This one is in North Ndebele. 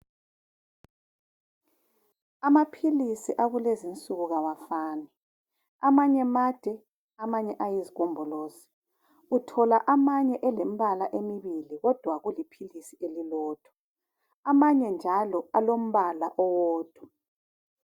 Amaphilisi akulezi insuku kawafani amanye made amanye ayizigombolozi uthola amanye elembala emibili kodwa kuli philisi lelilodwa amanye njalo alombala owodwa.